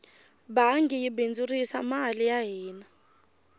bangi yi bindzurisa mali ya hina